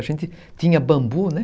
A gente tinha bambu, né?